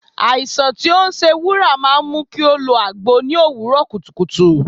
Àìsàn tí ó ń ṣe Wúrà máa ń mu kó lo agbo l'òwúrò kùtùkùtù.